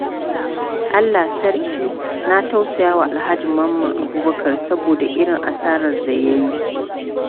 Allah Sarki! Na tausaya wa Alhaji Mamman Abubakar saboda irin asarar da ya yi.